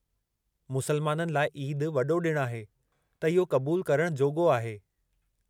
मुसलमाननि लाइ ईदु वॾो ॾिणु आहे त इहो क़बूलु करण जोॻो आहे।